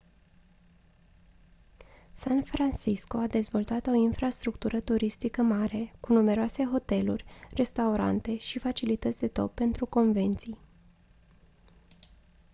san francisco a dezvoltat o infrastructură turistică mare cu numeroase hoteluri restaurante și facilități de top pentru convenții